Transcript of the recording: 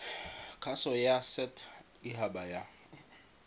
kgaso ya set haba ya